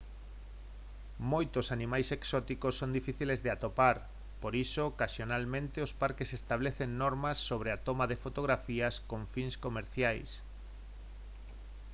moitos animais exóticos son difíciles de atopar por iso ocasionalmente os parques establecen normas sobre a toma de fotografías con fins comerciais